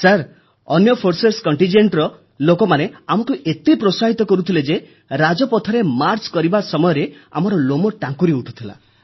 sir ଅନ୍ୟ ବାହିନୀରର ଲୋକେ ଆମକୁ ଏତେ ପ୍ରୋତ୍ସାହିତ କରୁଥିଲେ ଯେ ରାଜପଥରେ ମାର୍ଚ୍ଚ କରିବା ସମୟରେ ଆମର ଲୋମ ଟାଙ୍କୁରିଉଠୁଥିଲା